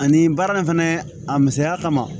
Ani baara in fɛnɛ a misɛnya kama